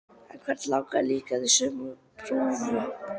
En hvern langaði líka til að sauma prufu?